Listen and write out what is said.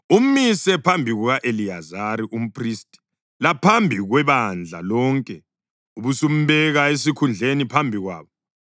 Umise phambi kuka-Eliyazari umphristi laphambi kwebandla lonke ubusumbeka esikhundleni phambi kwabo.